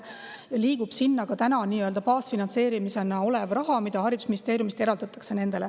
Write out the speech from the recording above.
Sinna liigub ka tänane baasfinantseerimise raha, mida nendele haridusministeeriumist eraldatakse.